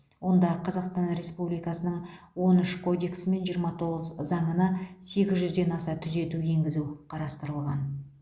онда қазақстан республикасының он үш кодексі мен жиырма тоғыз заңына сегіз жүзден аса түзету енгізу қарастырылған